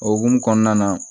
O hukumu kɔnɔna na